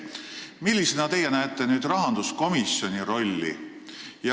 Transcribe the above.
Millisena teie näete nüüd rahanduskomisjoni rolli?